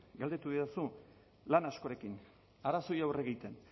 galdetu didazu lan askorekin arazoei aurre egiten